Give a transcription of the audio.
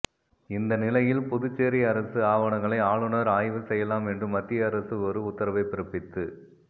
இந்த நிலையில் புதுச்சேரி அரசு ஆவணங்களை ஆளுனர் ஆய்வு செய்யலாம் என்று மத்திய அரசு ஒரு உத்தரவை பிறப்பித்து